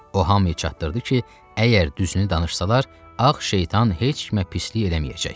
O hamını çatdırdı ki, əgər düzünü danışsalar, ağ şeytan heç kimə pislik eləməyəcək.